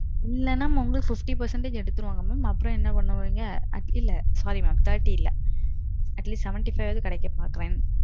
இல்ல மாம் உங்களுக்கு fifty percentage எடுத்திருவாங்க mam. approximateஅ அப்பறோம் என்ன பண்ணுவாங்க. sorry thirty இல்ல, sorry mam thirty இல்ல. atleast seventy five ஆவது உங்களுக்கு கிடைக்கும்.